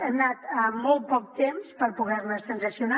hem anat amb molt poc temps per poder les transaccionar